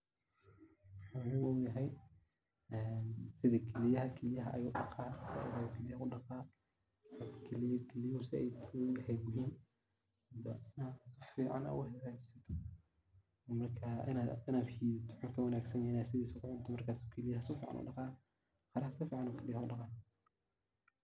Muhu muhim u yahay, sidha kiliyaha. Kiliyaha ayu daqaa ,kiliyuhu zaid u sifeya oo zaid u habeya marka inaad shidatin zaid ayey muhim u tahay inaad sidisa ku cuntid markas ayu kiliyaha zaid u daqaa.